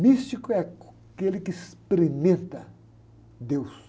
Místico é aquele que experimenta Deus.